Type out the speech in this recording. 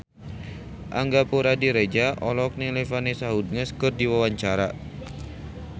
Angga Puradiredja olohok ningali Vanessa Hudgens keur diwawancara